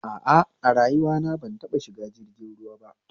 A a, a rayuwana ban taɓa shiga jirgin ruwa ba